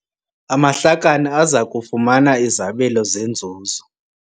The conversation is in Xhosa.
Amahlakani aza kufumana izabelo zenzuzo.